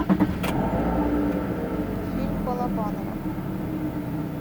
фильм балабанова